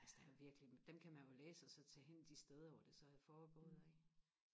altså der er virkelig dem kan man jo læse og så tage hen de steder hvor det så er foregået ikke